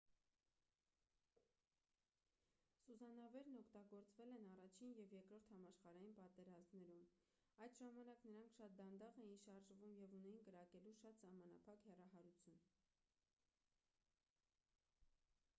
սուզանավերն օգտագործվել են առաջին և երկրորդ համաշխարհային պատերազմներում այդ ժամանակ նրանք շատ դանդաղ էին շարժվում և ունեին կրակելու շատ սահմանափակ հեռահարություն